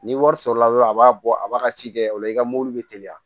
Ni wari sɔrɔla dɔrɔn a b'a bɔ a b'a ka ci kɛ o la i ka mobili bɛ teliya